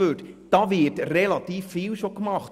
Da wird aber schon relativ viel gemacht.